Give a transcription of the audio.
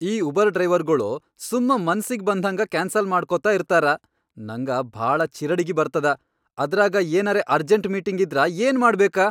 ಈ ಉಬರ್ ಡ್ರೈವರ್ಗೊಳು ಸುಮ್ಮ ಮನಸಿಗಿ ಬಂದ್ಹಂಗ ಕ್ಯಾನ್ಸಲ್ ಮಾಡ್ಕೊತ ಇರ್ತಾರ, ನಂಗ ಭಾಳ ಚಿರಡಿಗಿ ಬರ್ತದ, ಅದ್ರಾಗ ಏನರೇ ಅರ್ಜೆಂಟ್ ಮೀಟಿಂಗ್ ಇದ್ರ ಏನ್ ಮಾಡ್ಬೇಕ.